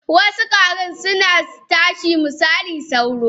Wasu kwarin suna tashi misali sauro.